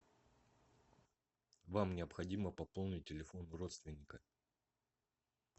вам необходимо пополнить телефон родственника